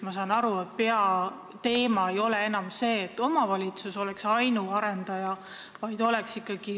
Ma saan aru, et peateema ei ole enam see, et omavalitsus peaks olema ainus arendaja.